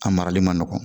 A marali man nɔgɔn